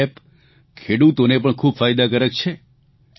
આ એપ ખેડૂતોને પણ ખૂબ ફાયદાકારક છે